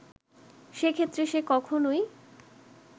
সে ক্ষেত্রে সে কখনোই